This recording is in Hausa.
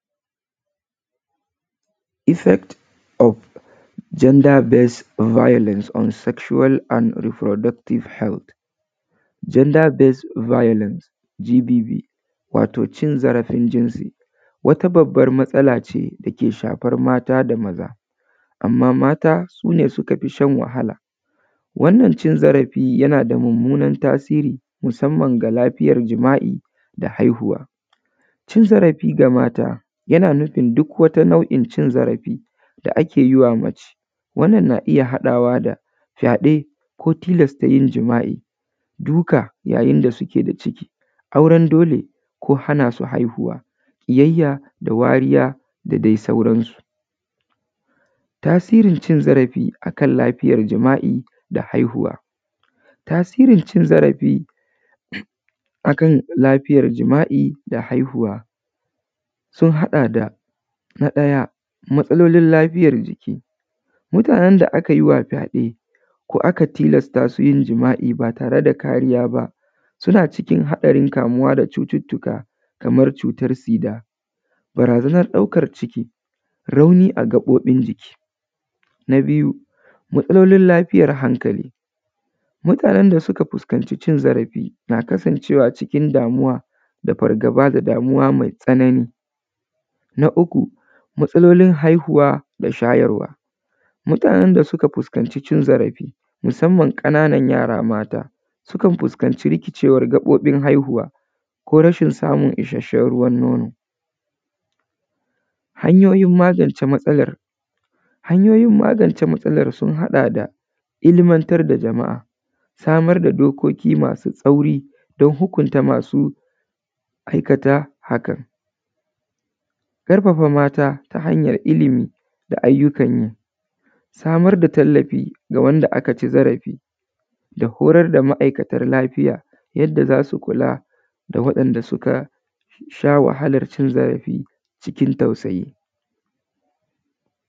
Effect of gender best volence on sexual and reproduntion health gender best vaolence GBV. Wato cin zarafin jinsi wata babban matsala ce da ke shafan mata da maza, anma mata su ne wanda suka fi shan wahala wannan cin zarafi yana da munmunan tasiri musanman ta lafiyan jima’I, haihuwa. Cin zarafi ga mata yana nufin duk wata nau’in cin zarafi da ake yi wa mace wannan na iya haɗawa da fyaɗe ko tilasta yin jima’I, duka yayin da suke da ciki, auren dole ko hana su haihuwa, ƙiyayya da wariya da dai sauransu. Tasirin cin zarafi akan lafiyan jima’i da haihuwa, tasirin cin zarafi akan lafiyan jima’i da haihuwa sun haɗa da na ɗaya matsalolin lafiyan jiki, mutanen da aka yi wa fyaɗe ko aka tilasta su yin jima’i ba tare da kariya ba suna cikin haɗarin kamuwa da cututtuka kaman cutan sida, barazanan ɗaukan ciki, rauni a gaɓoɓin jiki. Na biyu, matsalolin lafiyan hakali, mutanen da suka fuskanci cin zarafi na kasancewa cikin damuwa da fargaba da damuwa mai tsanani. Na uku, matsalolin haihuwa da shayarwa mutanen da suka fuskanci cin zarafi musanman ƙanan yara mata sukan fuskanci rikicewan rikicin gaɓoɓin haihuwa ko rashin samun isashshen ruwan nono. Hanyoyin magance matsalan, hanyoyin magance matsalan sun haɗa da: ilmantar da jama’a, samar da dokoki masu sauƙi don hukunta masu aikata haka, ƙarfafa mata ta hanyan ilimi da ayyukan yi, samar da tallafi wanda aka fi zarafi da hurasa da ma’aikatan lafiya yanda za su kula da wanda suka sha wahalan cin zarafi cikin tausayi.